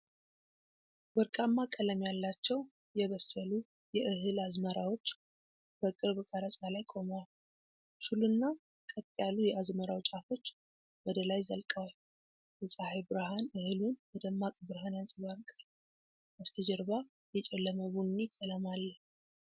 ወርቃማ ቀለም ያላቸው የበሰሉ የእህል አዝመራዎች በቅርብ ቀረጻ ላይ ቆመዋል። ሹልና ቀጥ ያሉ የአዝመራው ጫፎች ወደ ላይ ዘልቀዋል። የፀሐይ ብርሃን እህሉን በደማቅ ብርሃን ያንጸባርቃል። በስተጀርባ የጨለመ ቡኒ ቀለም አለ።